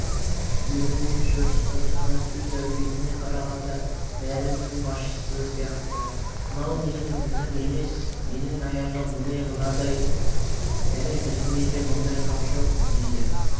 киіміне жүріс-тұрысына сөз әлпетіне қарағанда бәрінің басшысы сияқты мынау менің ізім емес менің аяғым міне мынадай және біздің үйде мұндай қап жоқ -дейді